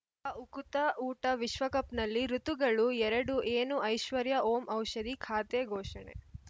ಅ ಉಕುತ ಊಟ ವಿಶ್ವಕಪ್‌ನಲ್ಲಿ ಋತುಗಳು ಎರಡು ಏನು ಐಶ್ವರ್ಯಾ ಓಂ ಔಷಧಿ ಖಾತೆ ಘೋಷಣೆ